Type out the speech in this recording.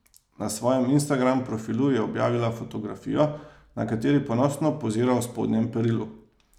Na svojem Instagram profilu je objavila fotografijo, na kateri ponosno pozira v spodnjem perilu.